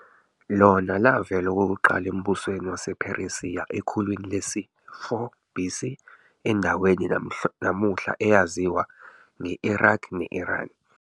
, lona lavela okokuqala embusweni wasePheresiya ekhulwini lesi-4 BC, endaweni namuhla eyaziwa nge-Iraq ne-Iran.